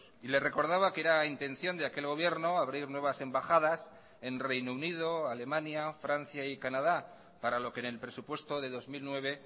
y le recordaba que era intención de aquel gobierno abrir nuevas embajadas en reino unido alemania francia y canadá para lo que en el presupuesto de dos mil nueve